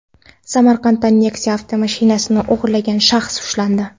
Samarqandda Nexia avtomashinasini o‘g‘irlagan shaxs ushlandi.